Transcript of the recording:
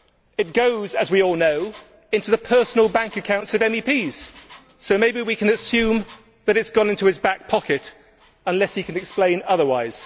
It goes, as we all know, into the personal bank accounts of MEPs, so maybe we can assume that it has gone into his back pocket unless he can explain otherwise.